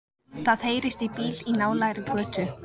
Það heyrist í bíl í nálægri götu.